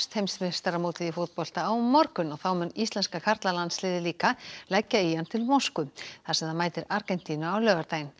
heimsmeistaramótið í fótbolta hefst á morgun og þá mun íslenska karlalandsliðið líka leggja í hann til Moskvu þar sem það mætir Argentínu á laugardaginn